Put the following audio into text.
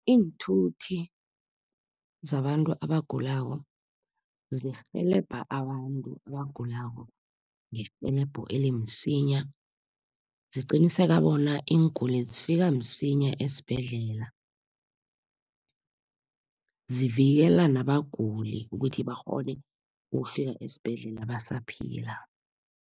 Iinthuthi zabantu abagulako zirhelebha abantu abagulako, ngerhelebho elimsinya. Ziqiniseka bona iinguli zifika msinya esibhedlela. Zivikela nabaguli ukuthi bakghone ukufika esibhedlela basaphila.